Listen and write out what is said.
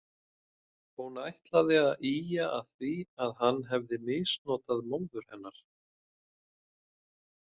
Hún ætlaði að ýja að því að hann hefði misnotað móður hennar.